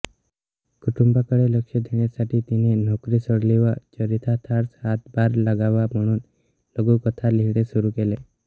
कुटुंबाकडे लक्ष देण्यासाठी तिने नोकरी सोडली व चरितार्थास हातभार लागावा म्हणून लघुकथा लिहिणे सुरू केले